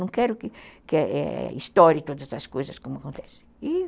Não quero que ãh estoure todas as coisas como acontece.